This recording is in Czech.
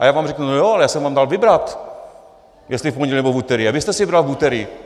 A já vám řeknu no jo, ale já jsem vám dal vybrat, jestli v pondělí, nebo v úterý, a vy jste si vybral v úterý.